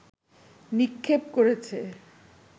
নিক্ষেপ করেছে